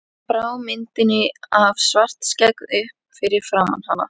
Hann brá myndinni af Svartskegg upp fyrir framan hana.